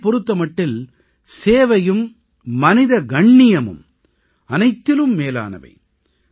அவரைப் பொறுத்த மட்டில் சேவையும் மனித கண்ணியமும் அனைத்திலும் மேலானவை